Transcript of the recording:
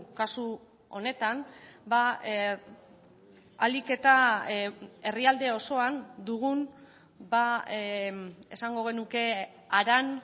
kasu honetan ahalik eta herrialde osoan dugun esango genuke haran